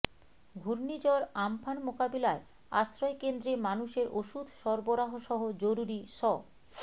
ঘূর্ণিঝড় আম্পান মোকাবিলায় আশ্রয়কেন্দ্রে মানুষের ওষুধ সরবরাহসহ জরুরি স্